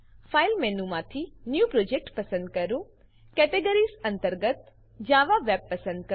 file મેનુમાંથી new project પસંદ કરો કેટેગરીઝ અંતર્ગત જાવા વેબ પસંદ કરો